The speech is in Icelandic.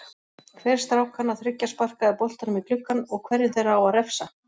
Hver strákanna þriggja sparkaði boltanum í gluggann og hverjum þeirra á að refsa?